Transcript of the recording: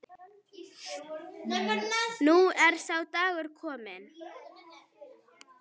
Nú er sá dagur kominn.